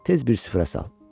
Tez bir süfrə sal.